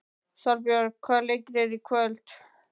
Salbjörg, hvaða leikir eru í kvöld?